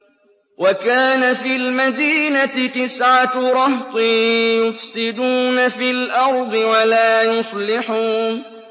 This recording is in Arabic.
وَكَانَ فِي الْمَدِينَةِ تِسْعَةُ رَهْطٍ يُفْسِدُونَ فِي الْأَرْضِ وَلَا يُصْلِحُونَ